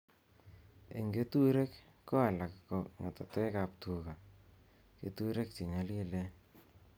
Eng keturek ko alak ko ngetetekab tuga keturek chenyolilen